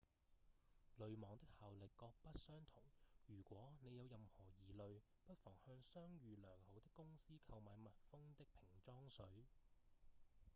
濾網的效力各不相同如果您有任何疑慮不妨向商譽良好的公司購買密封的瓶裝水